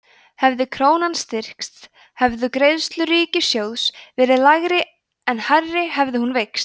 hefði krónan styrkst hefðu greiðslur ríkissjóðs verið lægri en hærri hefði hún veikst